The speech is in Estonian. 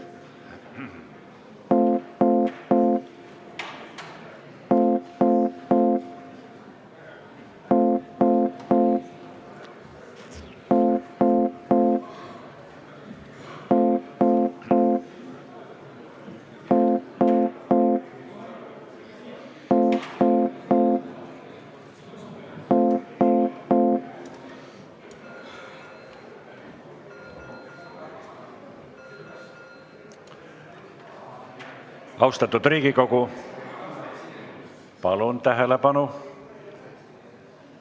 Austatud Riigikogu, palun tähelepanu!